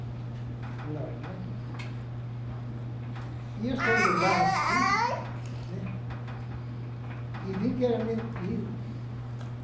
nois né. E eu, estando lá assim, né, e vi que era meu tio.